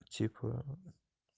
типа